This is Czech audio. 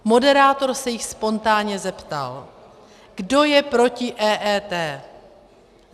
Moderátor se jich spontánně zeptal - kdo je proti EET?